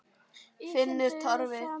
Finnur Torfi.